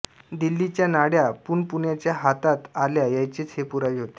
दिल्लीच्या नाड्या पुन पुण्याच्या हातात आल्या याचेच हे पुरावे होते